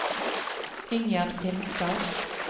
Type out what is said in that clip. Ingjerd Finstad